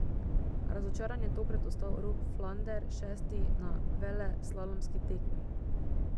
Razočaran je tokrat ostal Rok Flander, šesti na veleslalomski tekmi.